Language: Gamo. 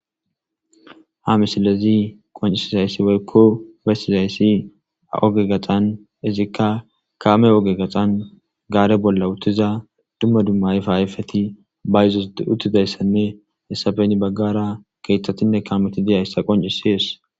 Ha misilezi qoncisizayssi weykko beyssizayssi oge gaxan izikka kaame oge gaxan gaare bolla uttiza dumma dumma ayfa ayfeti ba yizos uttidayssanne issafeni baggara keeththatinne kaameti diyayssa qoncisees.